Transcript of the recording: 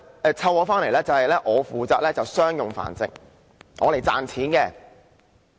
假設我被主人飼養，負責商業繁殖，負責賺錢。